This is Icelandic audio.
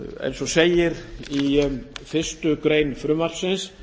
eins og segir í fyrstu grein frumvarpsins